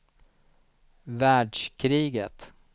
världskriget